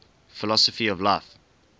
philosophy of life